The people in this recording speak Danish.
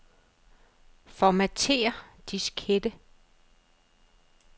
Formatér diskette.